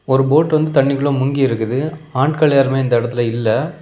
ஒரு போட் வந்து தண்ணிக்குள்ள முங்கி இருக்குது ஆட்கள் யாருமே இந்த இடத்துல இல்ல.